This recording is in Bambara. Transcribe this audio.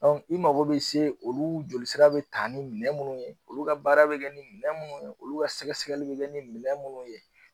Dɔnku i mago be se olu joli sira be taa ni minɛn munnu ye olu ka baara bi kɛ ni minɛn munnu ye olu ka sɛgɛsɛgɛli be kɛ ni minɛn munnu ye